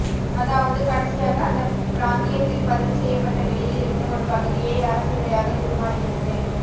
அதாவது கடைசியாக அந்த பிராந்தியத்தில் பதிவுசெய்யப்பட்ட விலையில் இருந்து ஒரு பகுதியை அரசு விலையாகத் தீர்மானிக்கிறது